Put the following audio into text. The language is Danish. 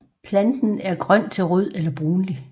Planten er grøn til rød eller brunlig